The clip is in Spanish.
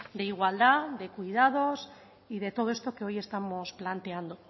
de igualdad de cuidados y de todo esto que hoy estamos planteando